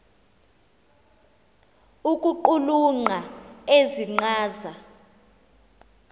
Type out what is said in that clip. ukuqulunqa ezi nkcaza